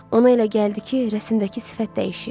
Ona elə gəldi ki, rəsimdəki sifət dəyişib.